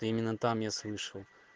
это именно там я слышал